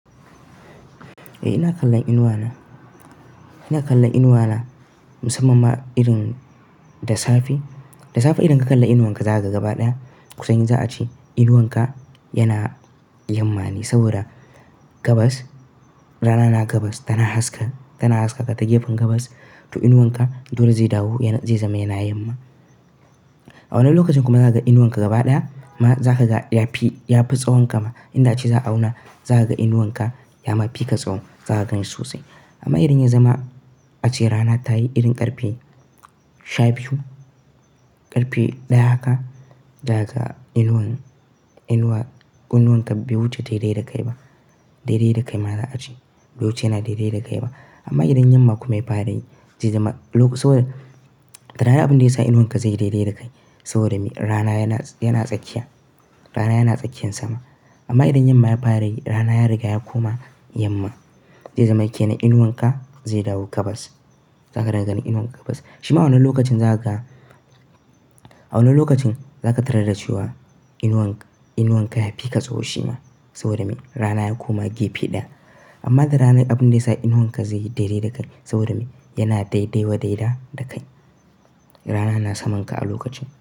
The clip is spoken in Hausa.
Eh ina kallon inuwana, ina kallon inuwana musamman ma irin da safe. Da safe idan ka kalla inuwanka za ka ga gaba ɗaya. Kusayin za a ce inuwanka yana yamma ne saboda gabas, rana na gabas tana haska, tana haska ka ta gefen gabas. To inuwanka dole zai dawo zai zama yana yamma. A wani lokacin kuma za ka ga inuwanka gaba ɗaya amma za ka ga ya fi, ya fi tsahonka ma. Inda ace za a auna za ka ga inuwanka ya mafi ka tsaho. Za ka ganshi sosai. Amma idan ya zama ace rana ta yi irin ƙarfe shabiyu, ƙarfe ɗaya haka, za ka ga inuwan, inuwa, kunnuwanka be wuce ta daidai da kai ba. Daidai da kai ma za a ce. Be wuce yana daidai da kai ba. Amma idan yamma kuma ya fara yi, zai zama, lok, saboda, da ranar abun da ya sa inuwanka zai yi daidai da kai saboda me? Rana yana, yana tsakiya. Rana yana tsakiyan sama. Amma idan yamma ya fara yi rana ya riga ya koma yamma. Zai zama ke na inuwanka zai dawo gabas. Za ka dinga ganin inuwan gabas. Shima a wannan lokacin za ka ga, a wani lokacin za ka tarar da cewa inuwanka, inuwanka ya fi ka tsaho shima saboda me? Rana ya koma gefe ɗaya. Amma da rana abun da ya sa inuwanka zai yi daidai da kai saboda me? Yana daidaiwa daida da kai. Rana na samanka a lokacin.